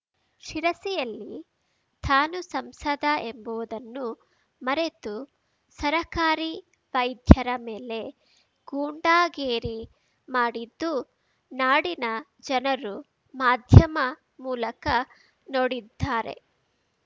ಶಿರಿಸಿಯಲ್ಲಿ ತಾನು ಸಂಸದ ಎಂಬುವುದನ್ನು ಮರೆತು ಸರಕಾರಿ ವೈದ್ಯರ ಮೇಲೆ ಗುಂಡಾಗೇರಿ ಮಾಡಿದ್ದು ನಾಡಿನ ಜನರು ಮಾಧ್ಯಮ ಮೂಲಕ ನೋಡಿದ್ದಾರೆ